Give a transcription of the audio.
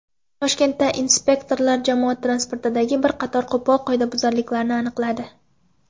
Toshkentda inspektorlar jamoat transportidagi bir qator qo‘pol qoidabuzarliklarni aniqladi.